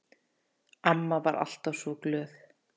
Amma var alltaf svo glöð.